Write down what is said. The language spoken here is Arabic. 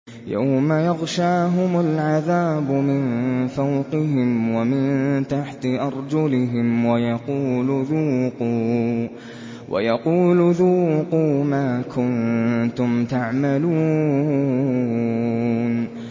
يَوْمَ يَغْشَاهُمُ الْعَذَابُ مِن فَوْقِهِمْ وَمِن تَحْتِ أَرْجُلِهِمْ وَيَقُولُ ذُوقُوا مَا كُنتُمْ تَعْمَلُونَ